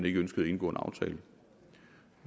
ikke ønskede at indgå en aftale